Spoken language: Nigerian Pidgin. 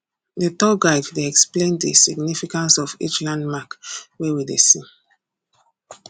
the tour guide dey explain the significance of each landmark wey we dey see